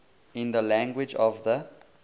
in the language of the